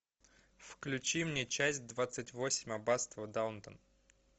включи мне часть двадцать восемь аббатство даунтон